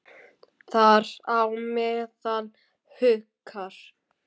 Þar á meðal Haukar.